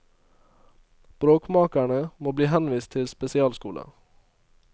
Bråkmakerne må bli henvist til spesialskoler.